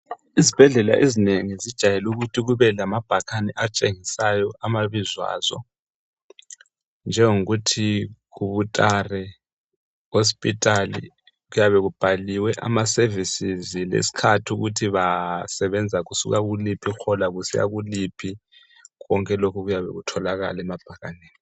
Izibhedlela ezinengi zijayelukuthi kube lamabhakane atshengisayo amabizo azo, njengokuthi hutare hospital kuyabe kubhaliwe ama sevisizi lesikhathi ukuthi basebenza kusuka kuliphi ihola kusiya kuliphi konke lokhu kuyabe kutholakala emabhakaneni.